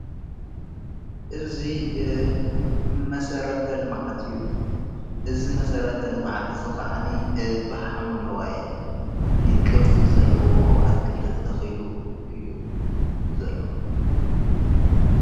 እዙ መሠረተ ልማዓት እዩ እዝ መሠረተ ልማዓት ዘኽዓኒ ብሓምሎዋይ ብቕርጽ ዘለዎ ኣትክልተ ተተኺሉ እዩ ዘለዉ።